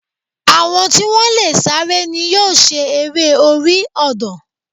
Àwọn tí wọ́n lè sáré ni yóò ṣe eré orí ọ̀dàn